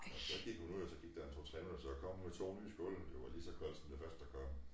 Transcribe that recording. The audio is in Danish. Så gik hun ud så gik der 2 3 minutter så kom hun med 2 nye skåle men de var lige så kolde som det første der kom